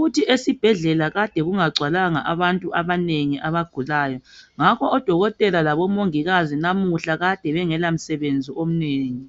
Uthi esibhedlela kade kungagcwalanga abantu abanengi abagulayo ngakho odokotela labomongikazi namuhla kade bengela msebenzi omnengi.